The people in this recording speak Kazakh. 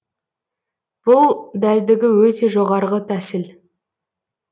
бұл дәлдігі өте жоғарғы тәсіл